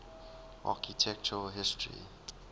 architectural history